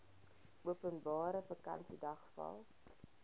openbare vakansiedag val